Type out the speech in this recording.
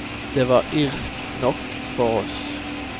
Det var irsk nok for oss.